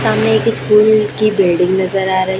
सामने एक स्कूल की बिल्डिंग नज़र आ रही--